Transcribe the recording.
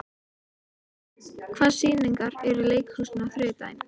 Finnjón, hvaða sýningar eru í leikhúsinu á þriðjudaginn?